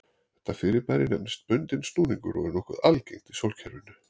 Þetta fyrirbæri nefnist bundinn snúningur og er nokkuð algengt í sólkerfinu.